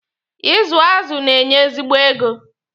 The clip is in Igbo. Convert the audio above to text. Ịzụ azụ na-enye ezigbo ego.